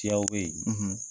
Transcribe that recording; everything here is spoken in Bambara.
Tiyaw be ye